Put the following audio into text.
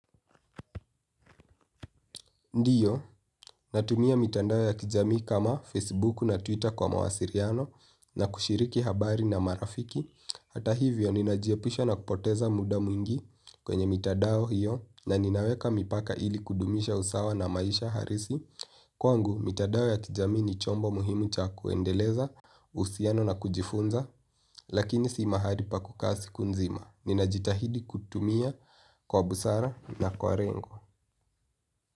Ndiyo, natumia mitandao ya kijamii kama Facebook na Twitter kwa mawasiliano na kushiriki habari na marafiki. Hata hivyo, ninajiepusha na kupoteza muda mwingi kwenye mitandao hiyo na ninaweka mipaka ili kudumisha usawa na maisha halisi. Kwangu, mitandao ya kijamii ni chombo muhimu cha kuendeleza, uhusiano na kujifunza, lakini si mahali pa kukaa siku nzima. Ninajitahidi kutumia kwa busara na kwa lengo.